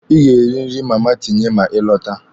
Ị ga-eri nri na Mama Tinye ma ị lọta.